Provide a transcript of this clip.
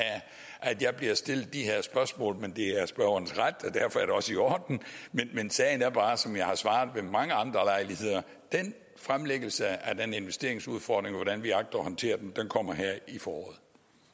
at jeg bliver stillet de her spørgsmål men det er spørgerens ret og derfor er det også i orden men sagen er bare som jeg har svaret ved mange andre lejligheder den fremlæggelse af den investeringsudfordring og hvordan vi agter at håndtere den kommer her i foråret